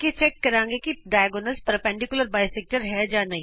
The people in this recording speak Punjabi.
ਅੱਗੇ ਅਸੀਂ ਜਾਂਚ ਕਰਾਂਗੇ ਕਿ ਕੀ ਵਿਕਰਣ ਲੰਬਵਤ ਦੋਭਾਜਕ ਹੈ